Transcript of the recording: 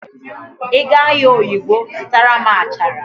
Ị gaa ahịa oyigbo zụtara m achara